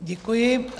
Děkuji.